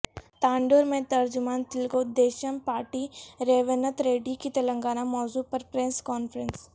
تانڈور میں ترجمان تلگو دیشم پارٹی ریونت ریڈی کی تلنگانہ موضوع پر پریس کانفرنس